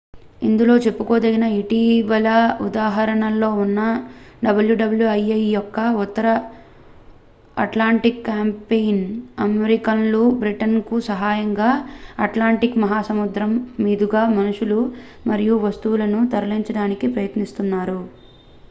ఇందులో చెప్పుకోదగిన ఇటీవలి ఉదాహరణల్లో ఒకటి wwii యొక్క ఉత్తర అట్లాంటిక్ క్యాంపెయిన్ అమెరికన్లు బ్రిటన్ కు సహాయంగా అట్లాంటిక్ మహాసముద్రం మీదుగా మనుషులను మరియు వస్తువులను తరలించడానికి ప్రయత్నిస్తున్నారు